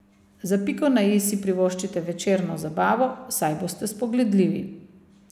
Za piko na i si privoščite večerno zabavo, saj boste spogledljivi.